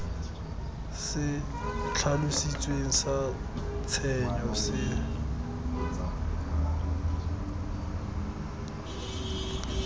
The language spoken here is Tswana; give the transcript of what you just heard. se tlhalositsweng sa tshenyo se